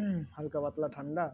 উম হালকা পাতলা ঠান্ডা